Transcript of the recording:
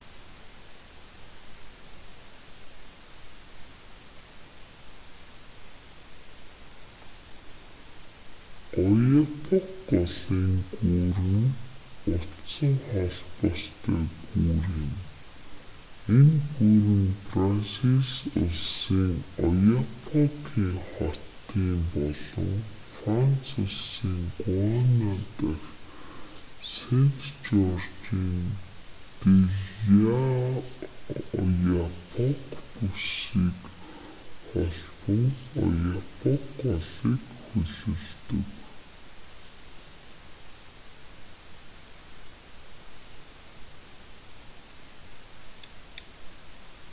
ояапок голын гүүр нь утсан холбоостой гүүр юм энэ гүүр нь бразил улсын ояапокын хотууд болон франц улсын гуана дах сэнт жоржын дэ л'ояапок бүсийг холбон ояапок голыг хөллөдөг